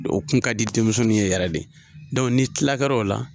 O kun ka di denmisɛnninw ye yɛrɛ de ni kilakɛr'o la